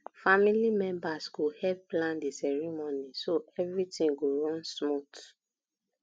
family members go help plan the ceremony so everything go run smooth